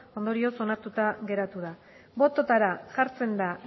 ondorioz onartuta geratu da bototara jartzen da